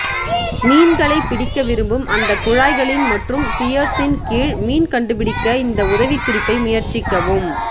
மீன்களைப் பிடிக்க விரும்பும் அந்தக் குழாய்களின் மற்றும் பியர்ஸின் கீழ் மீன் கண்டுபிடிக்க இந்த உதவிக்குறிப்பை முயற்சிக்கவும்